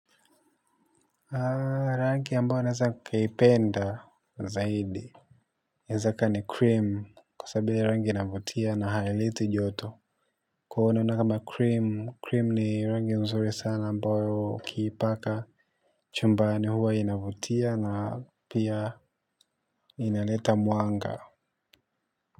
Rangi ambayo naeza nikaipenda zaidi nezaka ni cream kwa sababu hiyo rangi inavutia na haileti joto. Kono na kama cream, cream ni rangi nzuri sana ambayo ukiipaka chumbani huwa inavutia na pia inaleta mwanga.